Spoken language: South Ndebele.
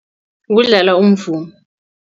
Kudlala umvumo.